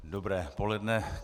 Dobré poledne.